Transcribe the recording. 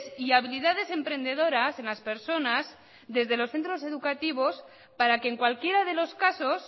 y habilidades emprendedoras en las personas desde los centros educativos para que en cualquiera de los casos